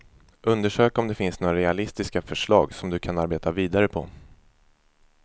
Undersök om det finns några realistiska förslag som du kan arbeta vidare på.